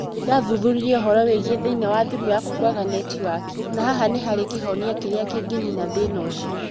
Nĩ ndathuthuririe ũhoro wĩgiĩ thĩna wa thimũ yaku kwaga netiwaki na haha nĩ harĩ kĩhonia kĩrĩa kĩngĩ nina thĩna ũcio.